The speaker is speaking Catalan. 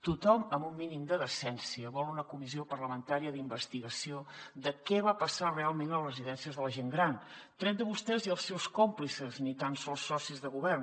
tothom amb un mínim de decència vol una comissió parlamentària d’investigació de què va passar realment a les residències de la gent gran tret de vostès i els seus còmplices ni tan sols socis de govern